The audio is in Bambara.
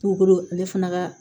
Tukolo ale fana ka